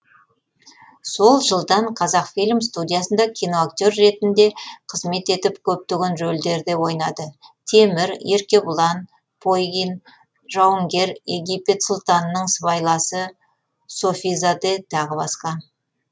сол жылдан қазақфильм студиясында киноактер ретінде қызмет етіп көптеген рөлдерде ойнады темір еркебұлан пойгин жауынгер египет сұлтанының сыбайласы софизаде тағы басқа